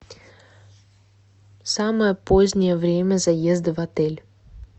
самое позднее время заезда в отель